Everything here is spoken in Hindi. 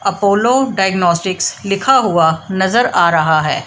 अपोलो डायग्नोस्टिक्स लिखा हुआ नजर आ रहा है।